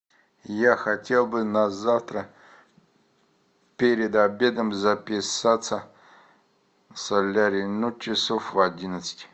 я хотел бы на завтра перед обедом записаться в солярий ну часов в одиннадцать